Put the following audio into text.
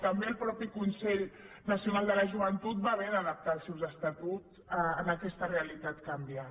també el mateix consell nacional de la joventut va haver d’adaptar els seus estatuts a aquesta realitat canviant